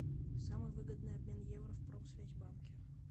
самый выгодный обмен евро в промсвязьбанке